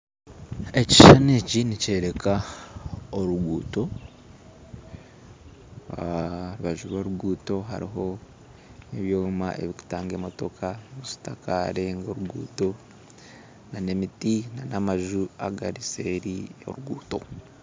Ekishushani eki nikyoreka oruguuto aharubaju rw'oruguuto hariyo ebyoma ebirikutaaga emotooka zitakarenga oruguuto n'emiti n'amanju agari seeri y'oruguuto